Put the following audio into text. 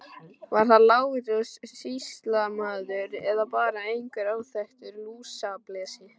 Var það Lárus sýslumaður eða bara einhver óþekktur lúsablesi.